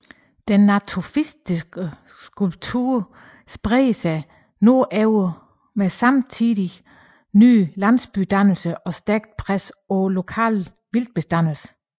Den natufiske kultur spredte sig nordover med stadig nye landsbydannelser og stærkt pres på lokale vildtbestande